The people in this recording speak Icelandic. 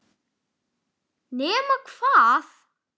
Nema hvað!